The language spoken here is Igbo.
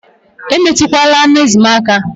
Emetukwala anụ ezi m aka!